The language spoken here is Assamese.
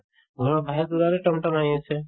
ঘৰৰ বাহিৰত ওলালে তম তম আহি আছে